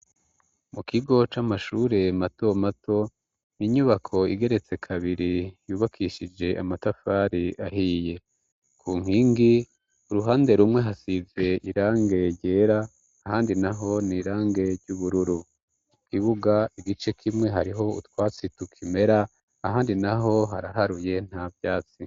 Mu kigo c'amashure matomato, ni inyubako igeretse kabiri yubakishije amatafari ahiye. Ku nkingi, uruhande rumwe hasize irangi ryera ahandi naho, ni irangi ry'ubururu. Mu kibuga, igice kimwe hariho utwatsi tukimera ahandi naho haraharuye nta vyatsi.